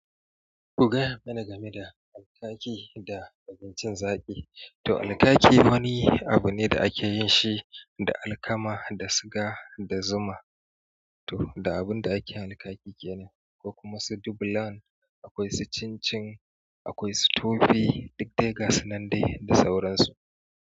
Kuga yana game da alkaki da abincin zaƙi. To alkaki wani abu ne da ake yin shi da alkama da suga da zuma. To da abun da ake alkaki ke ne, ko kuma su dubulan, akwai su cincin, akwai su tofi, duk da ya gasu nan dai da sauransu.